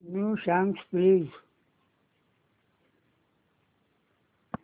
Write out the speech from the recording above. new songs please